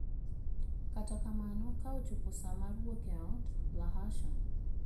Kata kamano, ka ochopo sa mar wuok e ot, Lahasha!